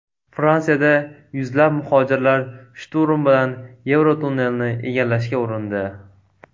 Fransiyada yuzlab muhojirlar shturm bilan Yevrotunnelni egallashga urindi.